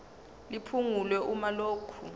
liphungulwe uma lokhu